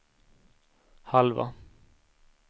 halva